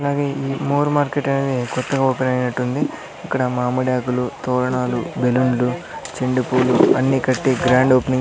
అలాగే ఈ more market అని కొత్తగా ఓపెన్ అయినట్టుంది ఇక్కడ మామిడి ఆకులు తోరణాలు బెలూన్లు చెండు పూలు అన్నీ కట్టి గ్రాండ్ ఓపెనింగ్ --